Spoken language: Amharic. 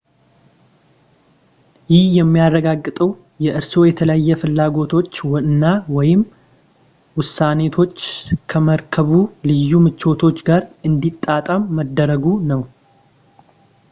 ይህ የሚያረጋግጠው የእርስዎ የተለየ ፍላጎቶች እና/ወይም ውስነቶች ከመርከቡ ልዩ ምቾት ጋር እንዲጣጣም መደረጉ ነው